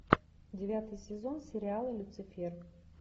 девятый сезон сериала люцифер